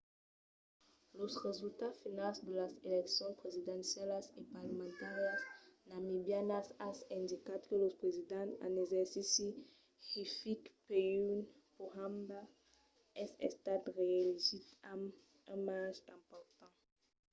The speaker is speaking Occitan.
los resultats finals de las eleccions presidencialas e parlamentàrias namibianas an indicat que lo president en exercici hifikepunye pohamba es estat reelegit amb un marge important